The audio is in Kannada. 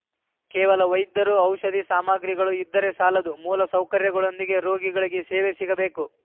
ಕೇವಲ ವೈದ್ಯರು ಔಷಧಿ ಸಾಮಗ್ರಿಗಳು ಇದ್ದರೆ ಸಾಲದು ಮೂಲಸೌಕರ್ಯಗಳೊಂದಿಗೆ ರೋಗಿಗಳಿಗೆ ಸೇವೆ ಸಿಗಬೇಕು